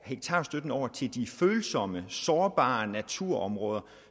hektarstøtten over til de følsomme sårbare naturområder